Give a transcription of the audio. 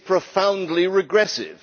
it is profoundly regressive.